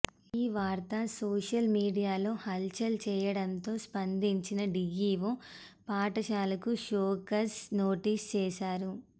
ఈ వార్త సోషల్ మీడియాలో హల్చల్ చేయడంతో స్పందించిన డీఈవో పాఠశాలకు షోకాజ్ నోటీసు చేశారు